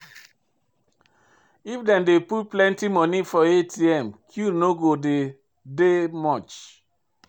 If dem dey put plenty monie for ATM queue no go dey dey much.